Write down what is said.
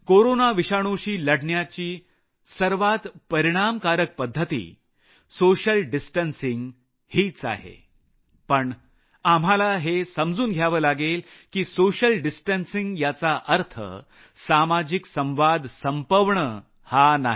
corona विषाणुशी लढण्याची सर्वात परिणामकारक पद्धत सोशल डिस्टन्सिंग हीच आहे पण आम्हाला हे समजून घ्यावं लागेल की सोशल डिस्टन्सिंग याचा अर्थ सामाजिक संवाद संपवणं हा नाही